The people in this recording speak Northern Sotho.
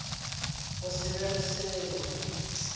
go se be le selo